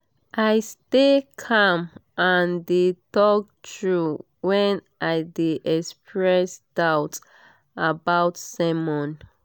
i stay calm and de talk true when i de express doubts about sermon